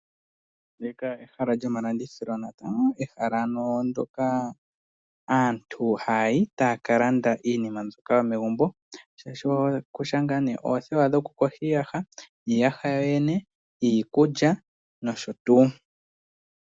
Ehala lyomalandithilo. Ehala hoka aantu haya yi taya ka landa iinima yomegumbo ngaashi oothewa dhokuyoga iiyaha, iiyaha yoyene, iikulya nosho tuu.